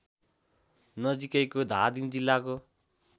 नजीकैको धादिङ जिल्लाको